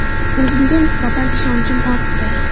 O‘zimga nisbatan ishonchim ortdi.